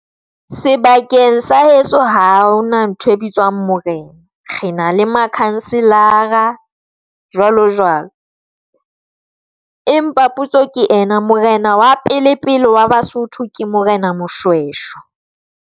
Sebakeng sa heso ha hona ntho e bitswang morena re na le makhanselara jwalo jwalo. Empa potso ke ena morena wa pele-pele wa Basotho ke Morena Moshweshwe.